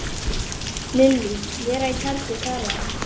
Lillý: Vera í tjaldi þar eða?